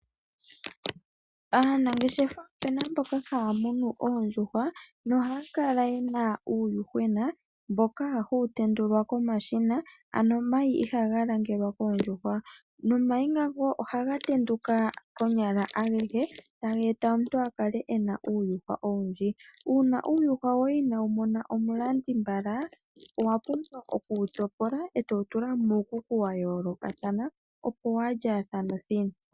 Aanageshefa opuna mboka haya munu oondjuhwa nohaya kala yena uuyuhwena mboka hawu tendulwa komashina ano omayi ihaga langelwa koondjuhwa, nomayi ngaka ohaga tenduka konyala agehe taga eta omuntu akale ena uuyuhwena owundji. Uuna uuyuhwa woye inaawu mona omulandi mbala owa pumbwa oku wu topola eto wu tula muukuku wa yoolokathana, opo waalya thane othina.